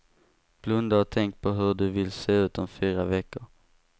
Blunda och tänk på hur du vill se ut om fyra veckor.